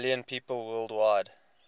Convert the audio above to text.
million people worldwide